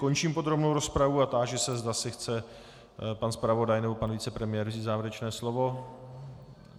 Končím podrobnou rozpravu a táži se, zda si chce pan zpravodaj nebo pan vicepremiér vzít závěrečné slovo.